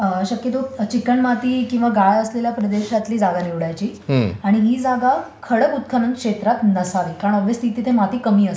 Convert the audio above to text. शक्यतो चिकणमाती किंवा गाळ असलेल्या प्रदेशातली जागा निवडायची आणि ही जागा खडक उत्खनन क्षेत्रात नसावी. कारण तिथे माती कमी असते.